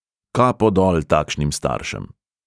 Kapo dol takšnim staršem!